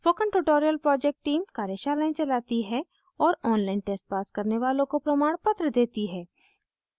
spoken tutorial project team कार्यशालाएं चलाती है और online test pass करने वालों को प्रमाणपत्र देती है